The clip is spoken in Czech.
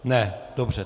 Ne, dobře.